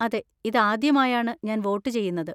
അതെ, ഇതാദ്യമായാണ് ഞാൻ വോട്ട് ചെയ്യുന്നത്.